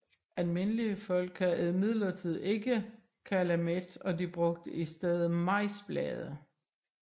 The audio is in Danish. Almindelige folk havde imidlertid ikke kalamet og de brugte i stedet majsblade